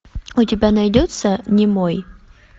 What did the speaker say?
у тебя найдется немой